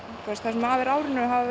sem af er árinu hafa